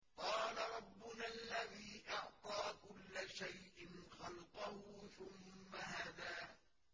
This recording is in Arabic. قَالَ رَبُّنَا الَّذِي أَعْطَىٰ كُلَّ شَيْءٍ خَلْقَهُ ثُمَّ هَدَىٰ